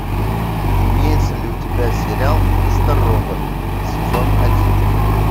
имеется ли у тебя сериал мистер робот сезон один